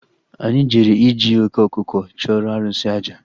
Anyị jere iji oké ọkụkọ chụọrọ arụsị àjà